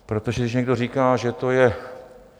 Protože když někdo říká, že to je...